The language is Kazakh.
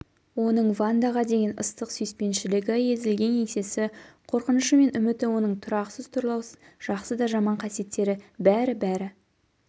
оның вандаға деген ыстық сүйіспеншілігі езілген еңсесі қорқынышы мен үміті оның тұрақсыз-тұрлаусыз жақсы да жаман қасиеттері бәрі-бәрі